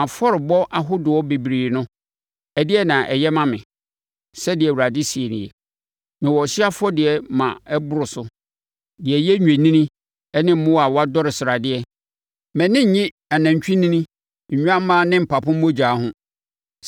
“Mo afɔrebɔ ahodoɔ bebree no, ɛdeɛn na ɛyɛ ma me?” Sɛdeɛ Awurade seɛ nie. “Mewɔ ɔhyeɛ afɔrebɔdeɛ ma ɛboro so, deɛ ɛyɛ nnwennini ne mmoa a wɔadɔre sradeɛ; mʼani nnye anantwinini, nnwammaa ne mpapo mogya ho.